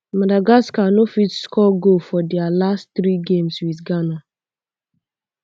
madagascar no fit um score goal for dia last three games wit ghana